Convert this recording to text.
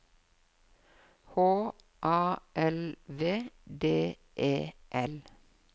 H A L V D E L